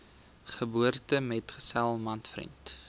geboortemetgesel man vriend